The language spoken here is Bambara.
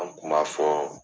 An kuma fɔ.